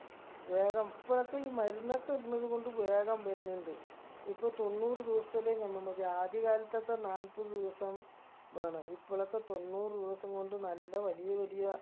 വേഗം ഇപ്പഴൊക്കെ ഈ മരുന്നൊക്കെ ഇടണത് കൊണ്ട് വേഗം വരണിണ്ട് ഇപ്പൊ തൊണ്ണൂറ് ദിവസത്തില് നമ്മ മതി ആദ്യ കാലത്തൊക്കെ നാൽപ്പത് ദിവസം ബേണം ഇപ്പളൊക്കെ തൊണ്ണൂറ് ദിവസം കൊണ്ട് നല്ല വലിയ വലിയ